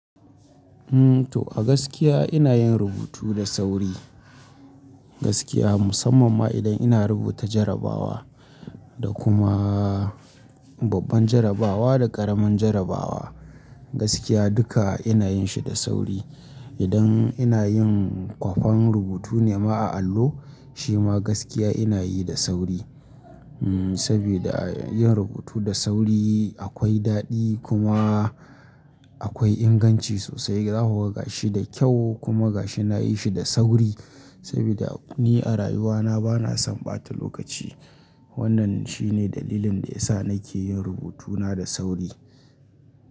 Umm to a gaskiya ina yin rubutu da sauri. Gaskiya musamman ma idan ina rubuta jarrabawa da kuma babban jarrabawa da ƙaramin jarrabawa. Gaskiya duka ina yin shi da sauri. Idan ina yin kwafen rubutu nema a allo shi ma gaskiya ina yi da sauri. Umm saboda yin rubutu da sauri akwai daɗi kuma akwai inganci sosai. Za ku ga shi da kyau kuma ga shi na yi shi da sauri saboda ni a rayuwa na ba na son ɓata lokaci. Wannan shi ne dalilin da ya sa na ke yin rubutuna da sauri.